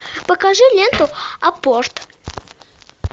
покажи ленту апорт